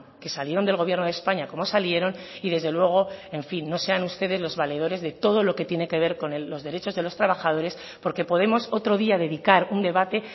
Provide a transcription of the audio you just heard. que salieron del gobierno de españa como salieron y desde luego en fin no sean ustedes los valedores de todo lo que tiene que ver con los derechos de los trabajadores porque podemos otro día dedicar un debate